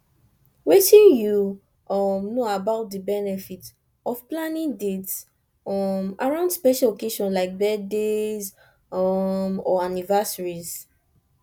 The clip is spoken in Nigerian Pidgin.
wetin you um know about di benefits of planning dates um around special occasions like birthdays um or anniversaries